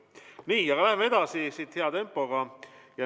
Nii, läheme edasi siit hea tempoga.